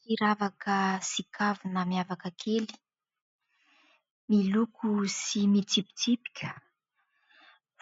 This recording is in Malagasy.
Firavaka sy kavina miavaka kely, miloko sy mitsipitsipika